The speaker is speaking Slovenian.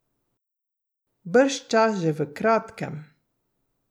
Bržčas že v kratkem.